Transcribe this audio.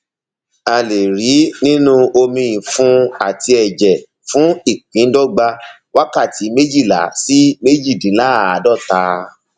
a lè rí i nínú omiìfun àti ẹjẹ fún ìpíndọgba wákàtí méjìlá sí méjìdínláàádọta